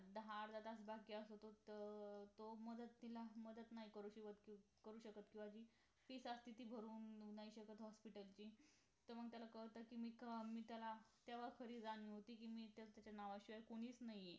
अं दहा अर्धा तास बाकी असतो तो मदत तिला मदत नाही करू शकत जी तीच असती ती अं तो मदत तिला मदत नाही करू शकत करु शकत fees असते ती नाही भरू शकत hospital ची तर त्याला कळत कि मीचं मीच त्याला तेव्हा खरी जाणीव होती कि मी तर हिच्या नावाशिवाय कोणीच नाही आहे